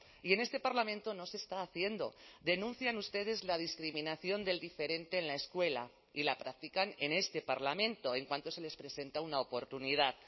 y en este parlamento no se está haciendo denuncian ustedes la discriminación del diferente en la escuela y la practican en este parlamento en cuanto se les presenta una oportunidad